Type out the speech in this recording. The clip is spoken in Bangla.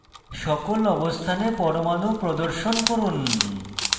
সকল অবস্থানে পরমাণু প্রদর্শন করুন